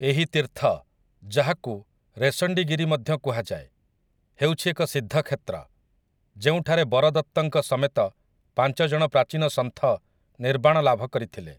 ଏହି ତୀର୍ଥ, ଯାହାକୁ ରେଶଣ୍ଡିଗିରି ମଧ୍ୟ କୁହାଯାଏ, ହେଉଛି ଏକ ସିଦ୍ଧ କ୍ଷେତ୍ର, ଯେଉଁଠାରେ ବରଦତ୍ତଙ୍କ ସମେତ ପାଞ୍ଚ ଜଣ ପ୍ରାଚୀନ ସନ୍ଥ ନିର୍ବାଣ ଲାଭ କରିଥିଲେ ।